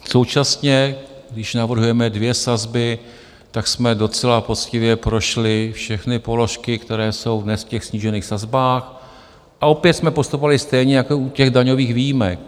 Současně, když navrhujeme dvě sazby, tak jsme docela poctivě prošli všechny položky, které jsou dnes v těch snížených sazbách a opět jsme postupovali stejně jako u těch daňových výjimek.